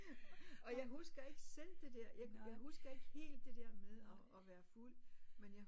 Og jeg husker ikke selv det der jeg husker ikke helt det der med og og være fuld men jeg